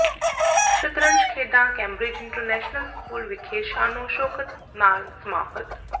ਸ਼ਤਰੰਜ ਖੇਡਾਂ Cambridge international school ਵਿਖੇ ਸ਼ਾਨੋ ਸ਼ੌਕਤ ਨਾਲ ਸਮਾਪਤ